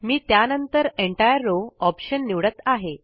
मी त्यानंतरEntire row option निवडत आहे